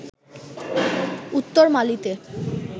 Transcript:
উত্তর মালিতে